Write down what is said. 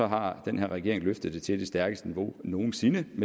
har den her regering løftet det til det stærkeste niveau nogen sinde